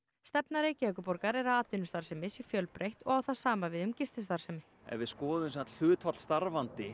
stefna Reykjavíkurborgar er að atvinnustarfsemi sé fjölbreytt og á það sama við um gististarfsemi ef við skoðum hlutfall starfandi